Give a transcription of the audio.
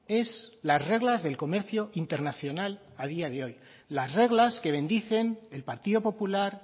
es las reglas del comercio internacional a día de hoy las reglas que bendicen el partido popular